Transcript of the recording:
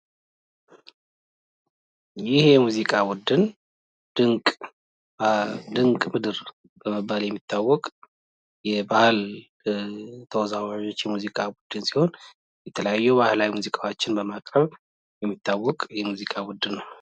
ይህ የሙዚቃ ቡድን ድንቅ ምድር በመባል የሚታወቅ የባህል ሙዚቃ ቡድን ተወዛዋዥ ሲሆን የተለያዩ ሙዚቃዎችን በማቅረብ የሚታወቅ ነው።